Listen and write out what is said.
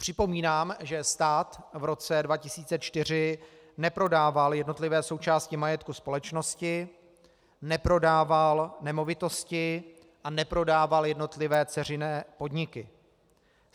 Připomínám, že stát v roce 2004 neprodával jednotlivé součásti majetku společnosti, neprodával nemovitosti a neprodával jednotlivé dceřiné podniky.